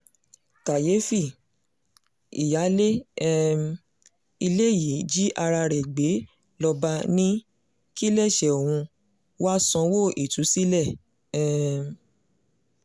kàyééfì ìyáálé um ilé yìí jí ara rẹ gbé ló bá ní kíléeṣẹ́ òun wàá sanwó ìtúsílẹ̀ um